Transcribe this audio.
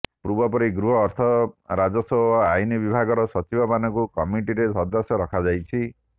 ପୂର୍ବ ପରି ଗୃହ ଅର୍ଥ ରାଜସ୍ବ ଓ ଆଇନ ବିଭାଗର ସଚିବମାନଙ୍କୁ କମିଟିରେ ସଦସ୍ୟ ରଖାଯାଇଛି